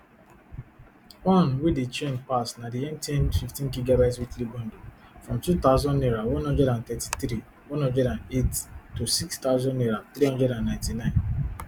one wey dey trend pass na di mtn fifteengb weekly bundle from two thousand naira one hundred and thirty-three one hundred and eight to six thousand naira three hundred and ninety-nine